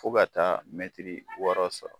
Fɔ ka taa mɛtiri wɔɔrɔ sɔrɔ.